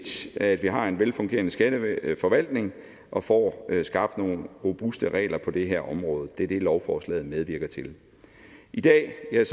at vi har en velfungerende skatteforvaltning og får skabt nogle robuste regler på det her område det er det lovforslaget medvirker til i dag er